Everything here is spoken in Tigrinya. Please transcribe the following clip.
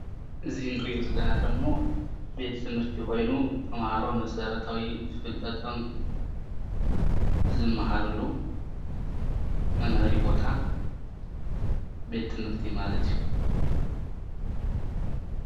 እዚ እንሪኦ ዘለና ደሞ ቤት ትምህርቲ ኾይኑ ተምሃሮ መሰረታዊ ፍልጠቶም ዝመሃሩሉ መምሀሪ ቦታ ቤት ትምህርቲ ማለት እዩ።